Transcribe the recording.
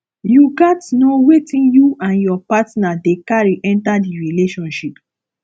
you gats know wetin you and your partner dey carry enter di relationship